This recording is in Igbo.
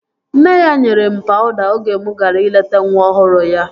Nne ya nyere m pawuda oge mụ gara ileta nwa ọhụrụ ya